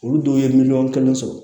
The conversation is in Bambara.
Olu dɔw ye miliyɔn kelen sɔrɔ